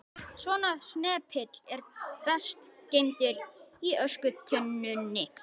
Svona snepill er best geymdur í öskutunnunni.